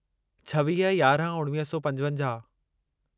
छवीह यारहं उणिवीह सौ पंजवंजाहु